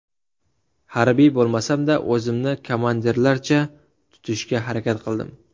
Harbiy bo‘lmasam-da, o‘zimni komandirlarcha tutishga harakat qildim.